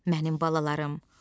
Mənim balalarım.